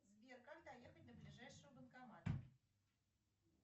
сбер как доехать до ближайшего банкомата